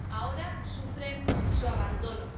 ahora sufren su abandono.